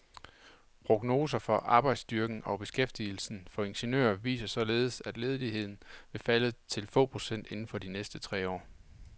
Prognoser for arbejdsstyrken og beskæftigelsen for ingeniører viser således, at ledigheden vil falde til få procent inden for de næste tre år.